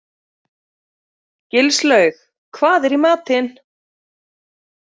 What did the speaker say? Gilslaug, hvað er í matinn?